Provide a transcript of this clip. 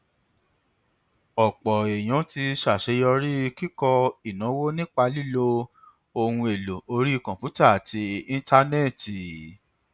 ọpọ èèyàn ti ṣàṣeyọrí nínú kíkọ ìnáwó nípa lílo ohun èlò orí kọǹpútà àti íńtánẹẹtì